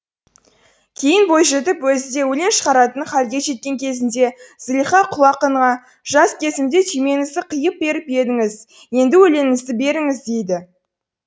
кейін бойжетіп өзі де өлең шығаратын халге жеткен кезінде зылиха құл ақынға жас кезімде түймеңізді қиып беріп едіңіз енді өлеңіңізді беріңіз дейді